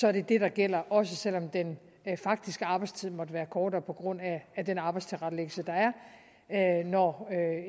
er det det der gælder også selv om den faktiske arbejdstid måtte være kortere på grund af den arbejdstilrettelæggelse der er når